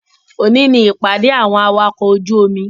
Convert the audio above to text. Òní ni ìpàdé àwọn awakọ̀ ojú omi